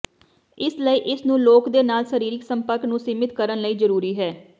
ਇਸ ਲਈ ਇਸ ਨੂੰ ਲੋਕ ਦੇ ਨਾਲ ਸਰੀਰਕ ਸੰਪਰਕ ਨੂੰ ਸੀਮਿਤ ਕਰਨ ਲਈ ਜ਼ਰੂਰੀ ਹੈ